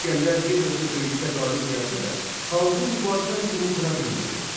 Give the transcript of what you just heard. İsgəndər bir neçə döyüşdə qalib gəlsə də, xalqın mübarizə əzmini qıra bilmədi.